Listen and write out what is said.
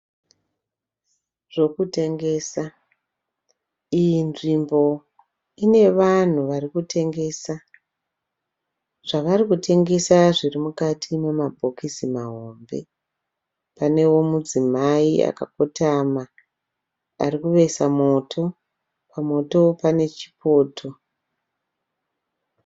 Zvokutengesa, iyi nzvimbo ine vanhu vari kutengesa. Zvavari kutengesa zviri mukati memabhokisi mahombe. Panewo mudzimai akakotama ari kuvesa moto. Pamoto pane chipoto.